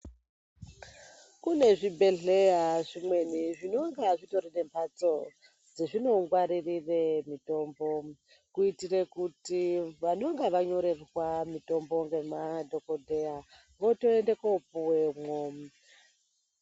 Kune zvibhedhleya zvimweni zvinonga zvitori nembatso dzezvino ngwarire mitombo kuitire kuti vanonga vanyorerwa mitombo ngemadhokodheya votoenda kopuwemwo.